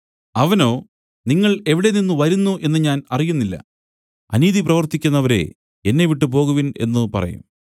അവനോ നിങ്ങൾ എവിടെ നിന്നു വരുന്നു എന്നു ഞാൻ അറിയുന്നില്ല അനീതി പ്രവൃത്തിക്കുന്നവരെ എന്നെവിട്ടു പോകുവിൻ എന്നു പറയും